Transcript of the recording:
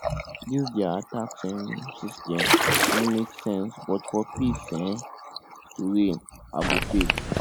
dis their tax um system no make sense but for peace um to reign i go pay